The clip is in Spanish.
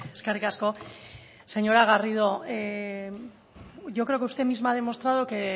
eskerrik asko señora garrido yo creo que usted misma ha demostrado que